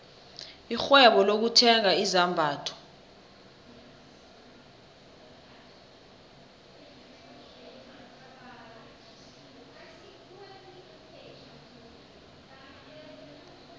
irhwebo lokuthenga izambatho